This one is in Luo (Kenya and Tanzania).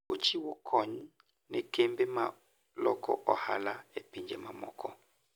Ochiwo kony ne kembe ma loko ohala e pinje mamoko.